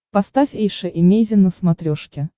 поставь эйша эмейзин на смотрешке